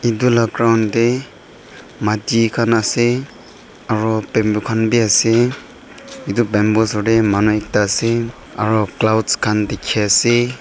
etu laga ground dae mati khan asae aro bamboo khan bi asae etu bamboo osor dae manu ekta asae aro clouds khan diki asae.